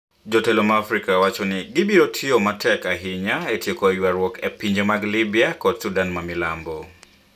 Jotelo ma Afrika wacho ni gibiro tiyo matek ahinya e tieko ywaruok e pinje mag Libya koda Sudan ma Milambo